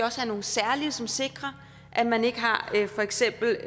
også have nogle særlige som sikrer at man ikke har for eksempel